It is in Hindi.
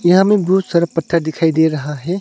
यहा मे बहुत सारा पत्थर दिखाई दे रहा है।